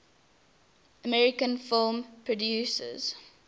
american film producers